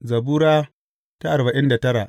Zabura Sura arba'in da tara